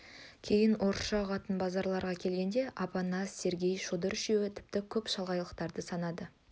кейін орысша ұғатын базаралыға келгенде апанас сергей шодыр үшеуі тіпті көп шалағайлықтарды санады